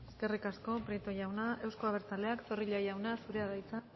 eskerrik asko prieto jauna euzko abertzaleak zorrilla jauna zurea da hitza